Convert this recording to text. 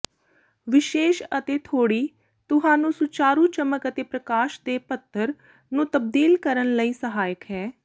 ਵਿਸ਼ੇਸ਼ ਅਤੇਥੋੜ੍ਹੀ ਤੁਹਾਨੂੰ ਸੁਚਾਰੂ ਚਮਕ ਅਤੇ ਪ੍ਰਕਾਸ਼ ਦੇ ਪੱਧਰ ਨੂੰ ਤਬਦੀਲ ਕਰਨ ਲਈ ਸਹਾਇਕ ਹੈ